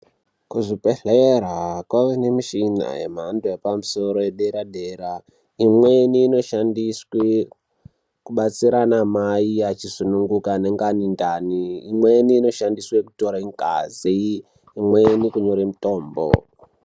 Kuzvibhedhlera kwave nemishina yemhando yepamusoro yedera dera. Imweni inoshandiswe kubatsira anamai vachisununguka anenga ane ndani. Imweni inoshandiswe kutore ngazi, imweni kunyore mitombo.